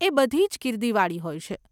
એ બધીજ ગીર્દીવાળી હોય છે.